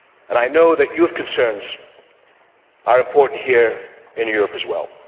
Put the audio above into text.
I know that youth concerns are important here in Europe as well.